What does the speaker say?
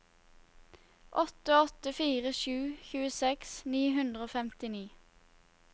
åtte åtte fire sju tjueseks ni hundre og femtini